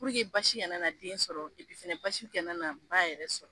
basi kana nana den sɔrɔ, fana basi kana na ba yɛrɛ sɔrɔ.